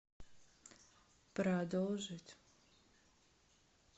продолжить